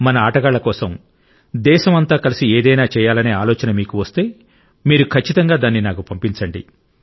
మన ఆటగాళ్ల కోసం దేశం అంతా కలిసి ఏదైనా చేయాలనే ఆలోచన మీకు వస్తే మీరు ఖచ్చితంగా దాన్ని నాకు పంపండి